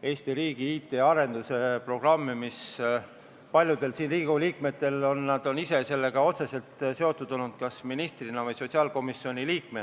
Eesti riigi IT arenduse programmi, millega paljud siin viibivad Riigikogu liikmed on ise otseselt seotud olnud kas ministrina või sotsiaalkomisjoni liikmena.